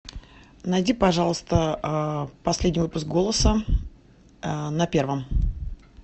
найди пожалуйста последний выпуск голоса на первом